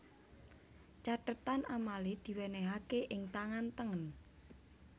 Cathetan amale diwenehake ing tangan tengen